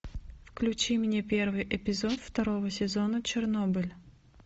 включи мне первый эпизод второго сезона чернобыль